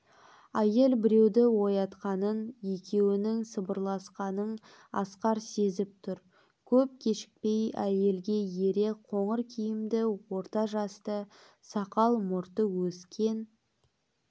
әйел біреуді оятқанын екеуінің сыбырласқанын асқар сезіп тұр көп кешікпей әйелге ере қоңыр киімді орта жасты сақал-мұрты өскен